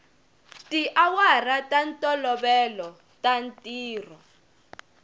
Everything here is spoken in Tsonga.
tiawara ta ntolovelo ta ntirho